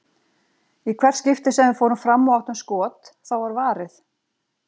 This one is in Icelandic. Í hvert skipti sem við fórum fram og áttum skot, þá var varið.